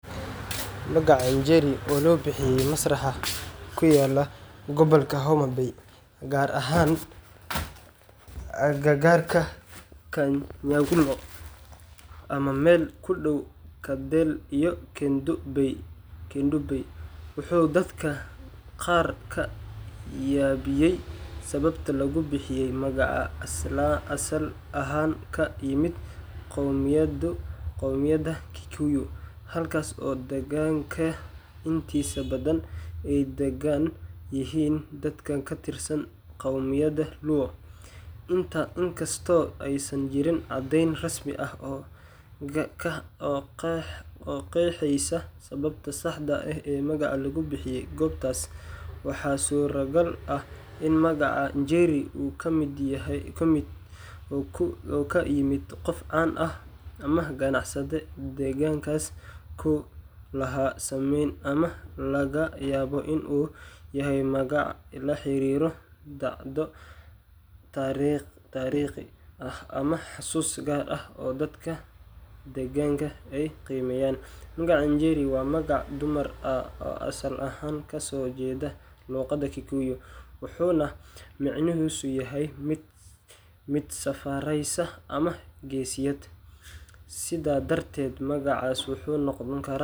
Magacan jeeri oo lobixiye masraxa kuyalah gobolka homabay Gaar ahaan agagarka kan nyangulo amah mesha meel kudow kundobey waxu dadka qaarka yabiyay kobta lagubixiyey magaca asal ahaan kayimet qomieyada kikuyo halkas oo deganka intisa badan Aya dagan dadaka katirsan qomieyada luo inkastoo oo sanjeren cadeyn rasmi aah oo qexeysah sababtaa saxdah aah ee magaca lagubixiye, ee kobtas waxa suragal ah ini magaca jeeri oo kamyemeet qoof can aah amah qanacsade degankasi laha sameeyn amah lagayaboh inu yahay magaca laxariroh dacdo taariqi aah maxasuso dadka degankasi qimeeyan , magaca jeeri wa magaca dumar aah oo asal ahaan kasoheedah loqada Kikuyu waxuna macnahiso yahay mid safareysoh amah keesiyat stha darted magaca waxu noqoni karah.